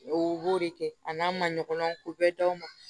O b'o de kɛ a n'a maɲɔgɔn ko bɛɛ daw ma